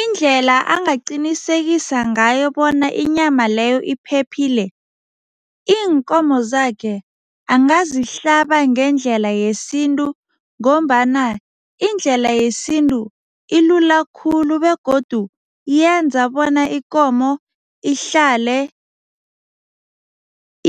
Indlela angaqinisekisa ngayo bona inyama leyo iphephile, iinkomo zakhe angazihlaba ngendlela yesintu ngombana indlela yesintu ilula khulu begodu yenza bona ikomo ihlale